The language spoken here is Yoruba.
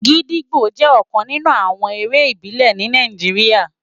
Gidigbó jè òkán ninú àwòn éré ibilè ni Nàijiriá